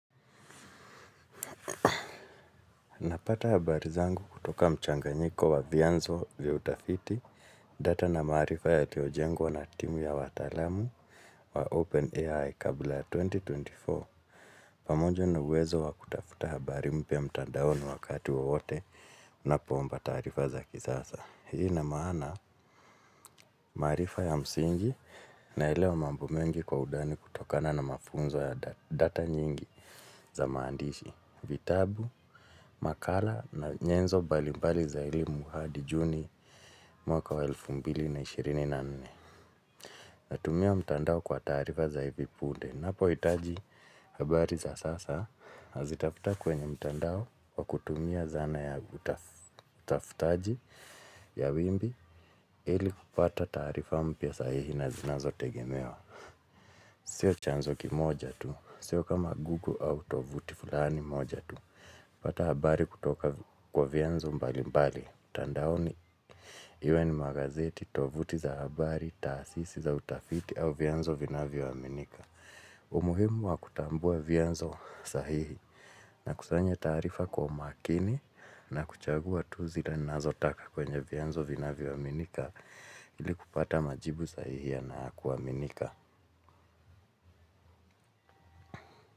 Napata habari zangu kutoka mchanganyiko wa vianzo vya utafiti data na maarifa yaliyojengwa na timu ya wataalamu wa OpenAI kabla ya elfu mbili na ishirini na nne. Pamoja na uwezo wa kutafuta habari mpya mtandaoni wakati wowote ninapoomba taarifa za kizasa. Hii una maana maarifa ya msingi naelewa mambo mengi kwa undani kutokana na mafunzo ya data nyingi za maandishi. Vitabu, makala na nyenzo mbalimbali za elimu hadi juni mwaka wa elfu mbili na ishirini na nne. Natumia mtandao kwa taarifa za hivi punde ninapohitaji habari za sasa nazitafuta kwenye mtandao kwa kutumia zana ya utafutaji ya wimbi ili kupata taarifa mpya sahihi na zinazotegemewa. Sio chanzo kimoja tu. Sio kama gugu au tovuti fulani moja tu napata habari kutoka kwa vianzo mbali mbali, mtandaoni, iwe ni magazeti, tovuti za habari, taasisi za utafiti au vianzo vinavyoaminika. Umuhimu wa kutambua vianzo sahihi na kusanya taarifa kwa makini na kuchagua tu zile ninazotaka kwenye vianzo vinavyoaminika ili kupata majibu sahihi na ya kuaminika.